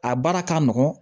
A baara ka nɔgɔn